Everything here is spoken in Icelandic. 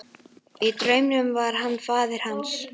Í draumnum var hann faðir hans.